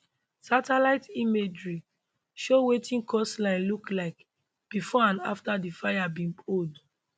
satellite imagery show wetin coastline look like bifor and afta di fires bin hold